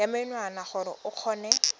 ya menwana gore o kgone